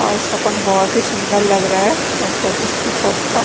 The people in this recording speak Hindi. और इसका पंख बहुत ही सुंदर लग रहा है लगता है पक का--